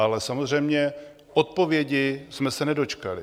Ale samozřejmě, odpovědi jsme se nedočkali.